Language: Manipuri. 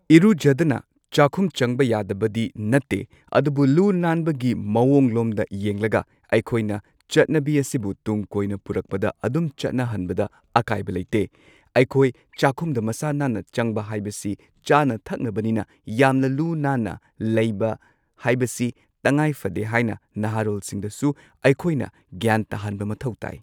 ꯏꯔꯨꯖꯗꯅ ꯆꯥꯛꯈꯨꯝ ꯆꯪꯕ ꯌꯥꯗꯕꯗꯤ ꯅꯠꯇꯦ ꯑꯗꯨꯕꯨ ꯂꯨ ꯅꯥꯟꯕꯒꯤ ꯃꯑꯣꯡ ꯂꯣꯝꯗ ꯌꯦꯡꯂꯒ ꯑꯩꯈꯣꯏꯅ ꯆꯠꯅꯕꯤ ꯑꯁꯤꯕꯨ ꯇꯨꯡ ꯀꯣꯏꯅ ꯄꯨꯔꯛꯄꯗ ꯑꯗꯨꯝ ꯆꯠꯅꯍꯟꯕꯗ ꯑꯀꯥꯏꯕ ꯂꯩꯇꯦ꯫ ꯑꯩꯈꯣꯏ ꯆꯥꯛꯈꯨꯝꯗ ꯃꯁꯥ ꯅꯥꯟꯅ ꯆꯪꯕ ꯍꯥꯏꯕꯁꯤ ꯆꯥꯅ ꯊꯛꯅꯕꯅꯤꯅ ꯌꯥꯝꯅ ꯂꯨ ꯅꯥꯟꯅ ꯂꯩꯕ ꯍꯥꯏꯕꯁꯤ ꯇꯉꯥꯏ ꯐꯗꯦ ꯍꯥꯏꯅ ꯅꯍꯥꯔꯣꯜꯁꯤꯡꯗꯁꯨ ꯑꯩꯈꯣꯏꯅ ꯒ꯭ꯌꯥꯟ ꯇꯥꯍꯟꯕ ꯃꯊꯧ ꯇꯥꯏ꯫